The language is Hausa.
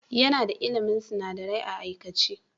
Yana da ilmin sunadarai a aikace.